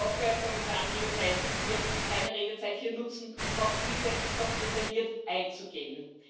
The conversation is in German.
Ich hoffe, Herr Kommissar Andriukaitis wird seine Redezeit hier nutzen, um auf diese noch detailliert einzugehen.